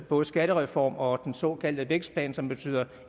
både skattereform og den såkaldte vækstplan som betyder